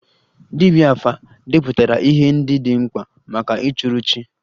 Dibia 'afa' depụtara ihe ndị dị mkpa maka ịchụrụ chi